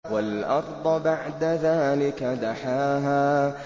وَالْأَرْضَ بَعْدَ ذَٰلِكَ دَحَاهَا